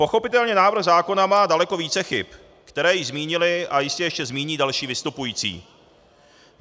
Pochopitelně návrh zákona má daleko více chyb, které již zmínili a jistě ještě zmíní další vystupující.